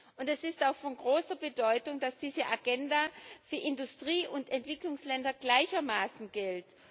Und es ist auch von großer Bedeutung, dass diese Agenda für Industrie und Entwicklungsländer gleichermaßen gilt.